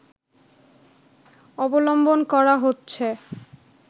অবলম্বন করা হচ্ছে